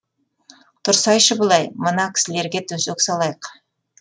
тұрсайшы былай мына кісілерге төсек салайық